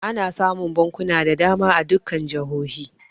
Ana samun bankuna da dama a dukkan jihohi.